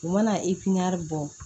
U mana bɔ